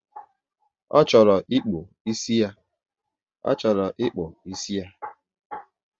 Ọ chọrọ ikpu ịsị ya